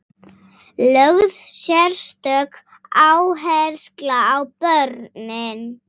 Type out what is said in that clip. Lögð sérstök áhersla á börnin.